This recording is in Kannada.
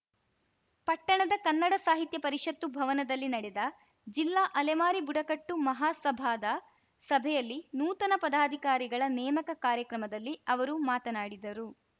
ಪಟ್ಟಣದ ಕನ್ನಡ ಸಾಹಿತ್ಯ ಪರಿಷತ್ತು ಭವನದಲ್ಲಿ ನಡೆದ ಜಿಲ್ಲಾ ಅಲೆಮಾರಿ ಬುಡಕಟ್ಟು ಮಹಾಸಭಾದ ಸಭೆಯಲ್ಲಿ ನೂತನ ಪದಾಧಿಕಾರಿಗಳ ನೇಮಕ ಕಾರ್ಯಕ್ರಮದಲ್ಲಿ ಅವರು ಮಾತನಾಡಿದರು